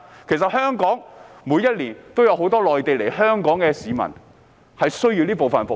其實，每年也有很多從內地來港的市民需要這部分的服務。